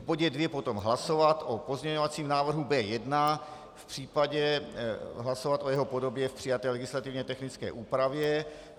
V bodě dvě potom hlasovat o pozměňovacím návrhu B1, případně hlasovat o jeho podobě v přijaté legislativně technické úpravě.